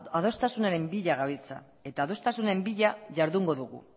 adostasunaren bila gabiltza eta adostasunaren bila jardungo dugu